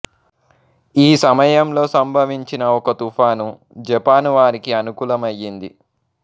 ఈ సమయంలో సంభవించిన ఒక తుఫాను జపాను వారికి అనుకూలమయ్యింది